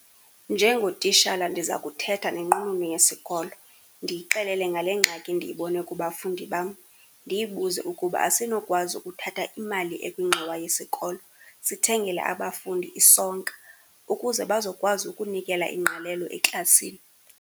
Njengotitshala ndiza kuthetha nenqununu yesikolo, ndiyixelele ngale ngxaki ndiyibone kubafundi bam. Ndiyibuze ukuba asinokwazi ukuthatha imali ekwingxowa yesikolo sithengele abafundi isonka ukuze bazokwazi ukunikela ingqalelo eklasini.